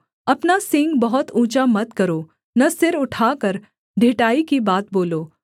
अपना सींग बहुत ऊँचा मत करो न सिर उठाकर ढिठाई की बात बोलो